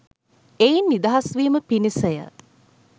එයින් නිදහස් වීම පිණිස ය